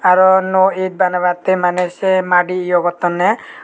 aro no eth banebatte mane se madi yo gotonde.